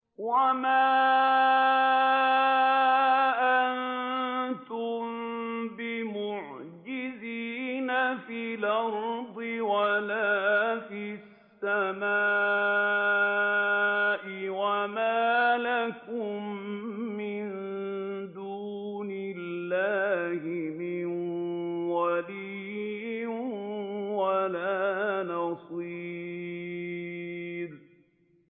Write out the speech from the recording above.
وَمَا أَنتُم بِمُعْجِزِينَ فِي الْأَرْضِ وَلَا فِي السَّمَاءِ ۖ وَمَا لَكُم مِّن دُونِ اللَّهِ مِن وَلِيٍّ وَلَا نَصِيرٍ